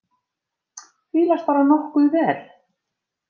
Fílast bara nokkuð vel.